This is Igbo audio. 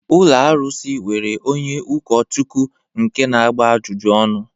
Ụlọ arụsị nwere onye ụkọchukwu nke na-agba ajụjụ ọnụ